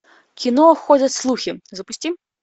кино ходят слухи запусти